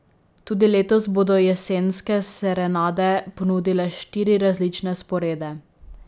Tudi letos bodo Jesenske serenade ponudile štiri različne sporede.